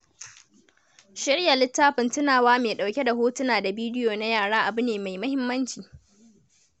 Shirya littafin tunawa mai ɗauke da hotuna da bidiyo na yara abu ne mai muhimmanci.